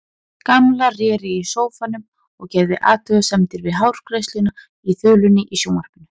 Gamla réri í sófanum og gerði athugasemdir við hárgreiðsluna á þulunni í sjónvarpinu.